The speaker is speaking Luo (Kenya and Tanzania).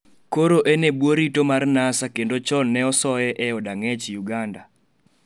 koro en e bwo rito mar NASA kendo chon ne ose e od ang'ech Uganda